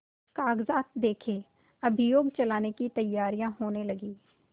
कागजात देखें अभियोग चलाने की तैयारियॉँ होने लगीं